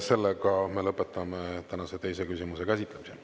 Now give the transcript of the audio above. Sellega me lõpetame tänase teise küsimuse käsitlemise.